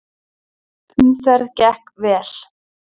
Umferð gekk vel.